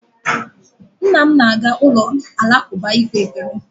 Nna m na-aga ụlọ alakụba ikpe ekpere